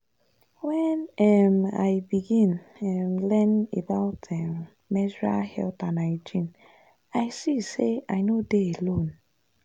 when um i begin um learn about um menstrual health and hygiene i see say i no dey alone.